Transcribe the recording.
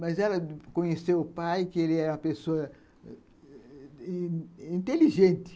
Mas ela conheceu o pai, que ele era uma pessoa inteligente.